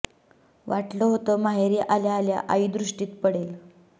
वाटलं होतं माहेरी आल्या आल्या आई दृष्टीस पडेल